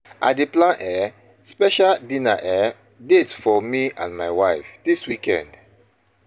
I dey plan um special dinner um date for me and my wife dis weekend.